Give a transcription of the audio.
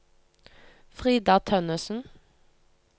Frida Tønnesen